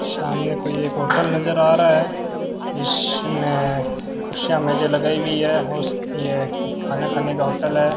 सामने कोई एक होटल नजर आ रहा है जिसमें कुर्सियां मेजें लगाई हुई है यह खाना खाने का होटल है।